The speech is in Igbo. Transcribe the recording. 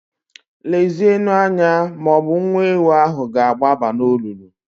Lezienụ anya ma ọ bụ nwa ewu ahụ ga-agbaba n'olulu.